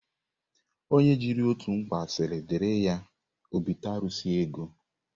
Onye jiri otu mkpa siri diri ya, o bite arụsị ego.